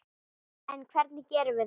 En hvernig gerum við það?